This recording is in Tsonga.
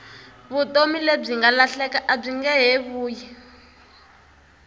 vutomi lebyi nga lahleka abyinge he vuyi